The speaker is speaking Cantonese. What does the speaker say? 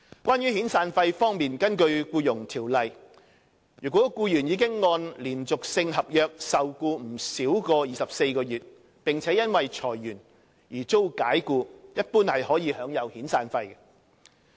關於遣散費方面，根據《僱傭條例》，如僱員已按連續性合約受僱不少於24個月，並因裁員而遭解僱，一般可享有遣散費。